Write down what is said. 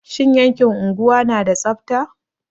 Shin yankin unguwa na da tsabta?